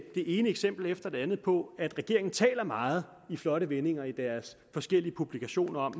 det ene eksempel efter det andet på at regeringen taler meget med flotte vendinger i deres forskellige publikationer om